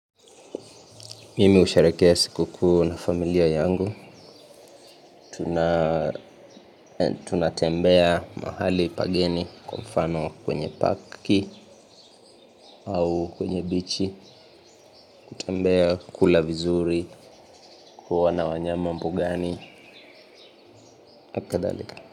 Mimi husherehekea siku kuu na familia yangu. Tunatembea mahali pageni kwa mfano kwenye park. Au kwenye bichi kutembea, kula vizuri. Kuona wanyama mbugani na kadhalika.